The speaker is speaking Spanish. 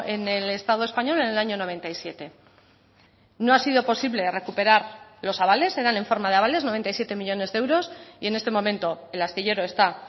en el estado español en el año noventa y siete no ha sido posible recuperar los avales eran en forma de avales noventa y siete millónes de euros y en este momento el astillero está